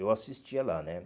Eu assistia lá, né?